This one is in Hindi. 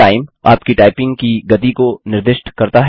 टाइम - आपकी टाइपिंग की गति को निर्दिष्ट करता है